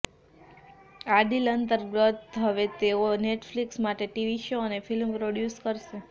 આ ડીલ અંતર્ગત હવે તેઓ નેટફ્લિક્સ માટે ટીવી શો અને ફિલ્મ પ્રોડ્યુસ કરશે